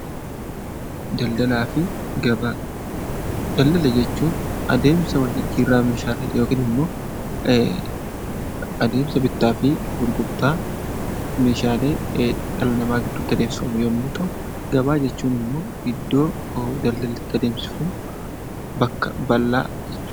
Daldalaa fi gabaa Daldala jechuun adeemsa wal jijjiirraa meeshaalee yookiin adeemsa bittaa fi gurgurtaa meeshaalee dhala namaa gidduu tti adeemsifamu yommuu ta'u; Gabaa jechuun immoo iddoo daldalli itti adeemsifamu, bakka bal'aa jechuu dha.